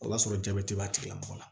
O b'a sɔrɔ jabɛti b'a tigila mɔgɔ la